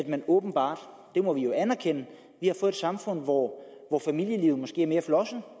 man åbenbart det må vi jo anerkende har fået samfund hvor familielivet måske er mere flosset